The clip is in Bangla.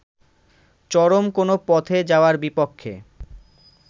চরম কোন পথে যাওয়ার বিপক্ষে